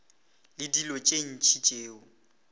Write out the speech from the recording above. le dilo tše ntši tšeo